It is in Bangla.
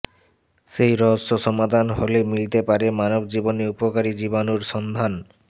সেই রহস্য সমাধান হলে মিলতে পারে মানব জীবনে উপকারি জীবাণুর সন্ধান